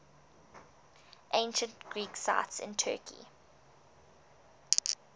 ancient greek sites in turkey